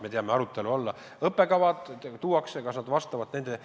Me teame, et arutelu alla tulevad õppekavad, kas need vastavad nõuetele.